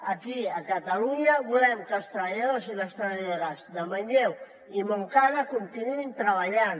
aquí a catalunya volem que els treballadors i les treballadores de manlleu i montcada continuïn treballant